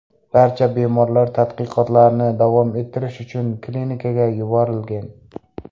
Barcha bemorlar tadqiqotlarni davom ettirish uchun klinikaga yuborilgan.